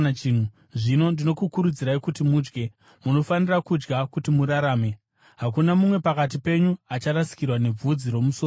Zvino ndinokukurudzirai kuti mudye. Munofanira kudya kuti murarame. Hakuna mumwe pakati penyu acharasikirwa nebvudzi romusoro wake.”